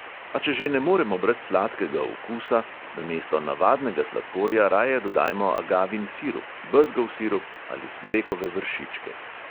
A če že ne moremo brez sladkega okusa, namesto navadnega sladkorja raje dodajmo agavin sirup, bezgov sirup ali smrekove vršičke.